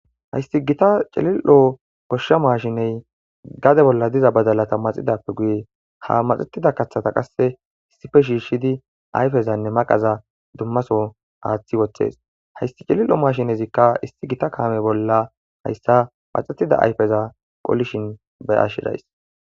Hayisi gita cililo goshshas mashshinney gade bola diza badalata maaxidappe guye ha maaxetida kaththata qase issippe shishshidi ayifezanne maqaza dumma Soho aththi woththees hayisi cililo mashinezikka issi gita kame bola hayisa kaththida ayifeza qolishin beashe dayis